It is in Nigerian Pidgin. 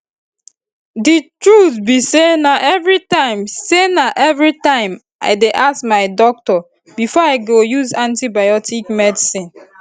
the truth be sayna everytime sayna everytime i dey ask my doctor before i go use any antibiotic medicine